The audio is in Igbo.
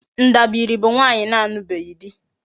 Ndabiri bu nwaanyi na-alubeghi di